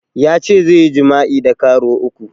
Yace zai yi jima'i da karuwa uku